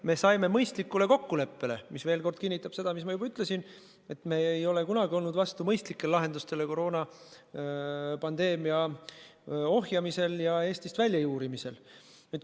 Me saime mõistlikule kokkuleppele, mis veel kord kinnitab seda, mida ma juba ütlesin, et me ei ole kunagi olnud vastu mõistlikele lahendustele koroonapandeemia ohjamisel ja Eestist väljajuurimisel.